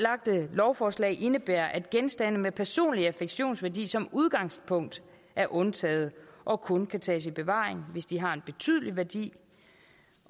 lovforslag indebærer at genstande med personlige affektionsværdi som udgangspunkt er undtaget og kun kan tages i bevaring hvis de har en betydelig værdi